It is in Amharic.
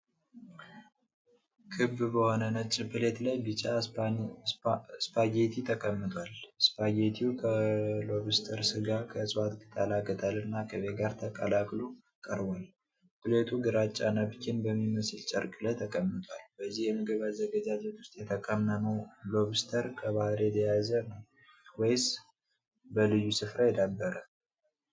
ክብ በሆነ ነጭ ፕሌት ላይ ቢጫ ስፓገቲ ተቀምጧል። ስፓገቲው ከ ሎብስተር ስጋ፣ ከዕፅዋት ቅጠላ ቅጠልና ቅቤ ጋር ተቀላቅሎ ቀርቧል። ፕሌቱ ግራጫ ናፕኪን በሚመስል ጨርቅ ላይ ተቀምጧል። በዚህ የምግብ አዘገጃጀት ውስጥ የተቀመመው ሎብስተር ከባህር የተያዘ ነው ወይስበልዩ ስፍራ የዳበረ?